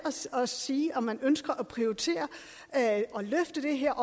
at sige om man ønsker at prioritere at løfte det her